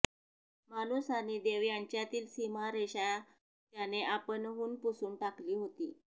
माणूस आणि देव यांच्यातील सीमारेषा त्याने आपणहून पुसून टाकली होती